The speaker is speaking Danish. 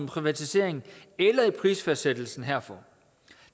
privatisering eller i prisfastsættelsen herfor